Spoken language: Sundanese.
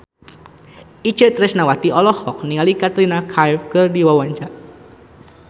Itje Tresnawati olohok ningali Katrina Kaif keur diwawancara